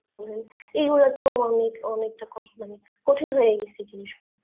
বলেন এই গুলোতেও অনেক অনেকটা কঠিন হয়ে গেছে জিনিস টা